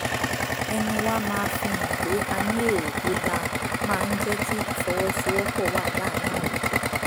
ẹnu wa máa fi hàn pé a ní èrò tó dáa máa ń jẹ́ kí ìfọwọ́sowọ́pọ̀ wà láàárín àwùjọ